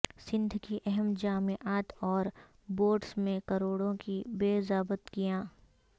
سندھ کی اہم جامعات اور بورڈز میں کروڑوں کی بے ضابطگیاں